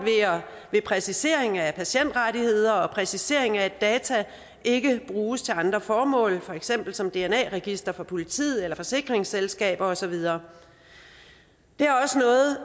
ved præcisering af patientrettigheder og præcisering af at data ikke bruges til andre formål for eksempel som dna register for politiet eller forsikringsselskaber og så videre det er også noget